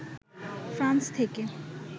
France থেকে